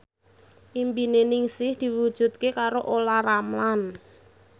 impine Ningsih diwujudke karo Olla Ramlan